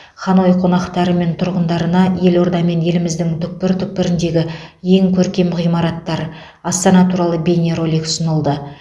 ханой қонақтары мен тұрғындарына елорда мен еліміздің түкпір түкпіріндегі ең көркем ғимараттар астана туралы бейнеролик ұсынылды